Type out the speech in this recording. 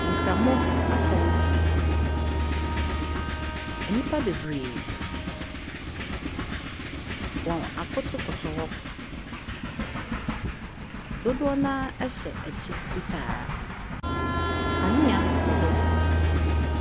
Nkramo asɔrefie, nnipa bebree wɔn akotokoto hɔ, dodoɔ noaa ɛhyɛ ɛkyɛ fitaa, kanea wɔ hɔ.